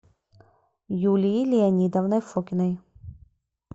юлией леонидовной фокиной